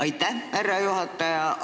Aitäh, härra juhataja!